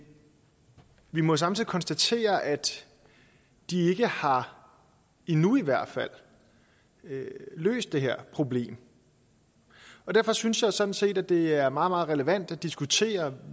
vi må samtidig konstatere at de ikke har endnu i hvert fald løst det her problem og derfor synes jeg sådan set at det er meget meget relevant at diskutere